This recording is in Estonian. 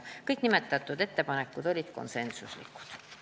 Kõik nimetatud ettepanekud olid konsensuslikud.